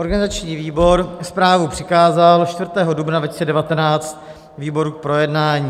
Organizační výbor zprávu přikázal 4. dubna 2019 výboru k projednání.